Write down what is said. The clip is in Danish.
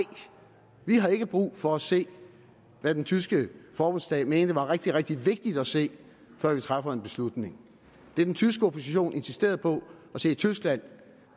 vi har ikke brug for at se hvad den tyske forbundsdag mente var rigtig rigtig vigtigt at se før vi træffer en beslutning det den tyske opposition insisterede på at se i tyskland